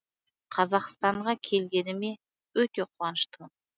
қазақстанға келгеніме өте қуаныштымын